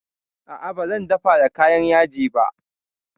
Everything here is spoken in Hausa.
A'a ba zan dafa da kayan yaji ba